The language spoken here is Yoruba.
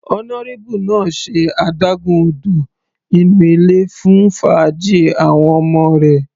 Honourable náà ṣe adágún odò inú ilé fún fàájì àwọn ọmọ rẹ̀.